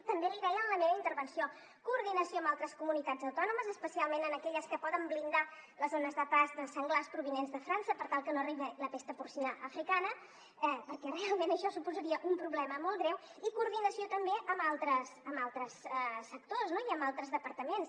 també l’hi deia en la meva intervenció coordinació amb altres comunitats autònomes especialment amb aquelles que poden blindar les zones de pas de senglars provinents de frança per tal que no arribi la pesta porcina africana perquè realment això suposaria un problema molt greu i coordinació també amb altres sectors i amb altres departaments